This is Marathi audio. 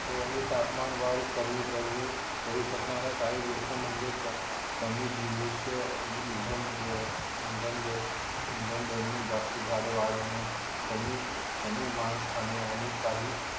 हो आणि तापमान वाढ कमी करू शकणाऱ्या काही गोष्टी म्हणजे कमी जीवष्य इंधन इंधन जडणे जास्त झाडे वाढवणे कमी मास खाणे आणि काही